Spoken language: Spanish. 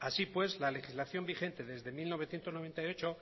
así pues la legislación vigente desde mil novecientos noventa y ocho